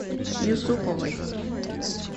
юсуповой